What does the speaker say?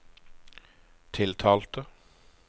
tiltalte